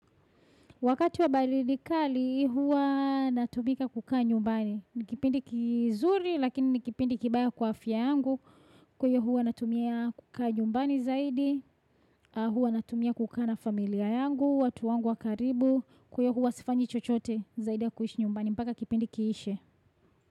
Wakati wa baridi kali, huwa natumika kukaa nyumbani. Ni kipindi kizuri, lakini ni kipindi kibaya kwa afya yangu. Kwa hiyo huwa natumia kukaa nyumbani zaidi. Huwa natumia kukaa na familia yangu, watu wangu wa karibu. Kwa hiyo huwa sifanyi chochote zaidi ya kuishi nyumbani. Mpaka kipindi kiishe.